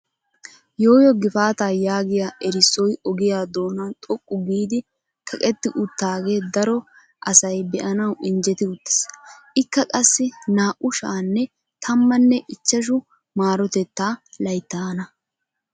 Yoo yoo gifaataa yaagiyaa erissoy ogiyaa doonan xoqqu giidi kaqetti uttagee daro asay be'anawu injetti uttiis. ikka qassi naa"u sha"anne tammanne ichchashshu marotettaa layttaana.